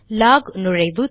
lock நுழைவு